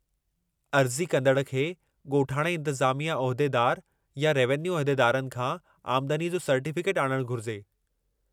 अर्ज़ी कंदड़ खे ॻोठाणे इंतिज़ामिया उहिदेदारु या रेवेन्यू उहिदेदारनि खां आमदनीअ जो सर्टिफिकेट आणणु घुरिजे।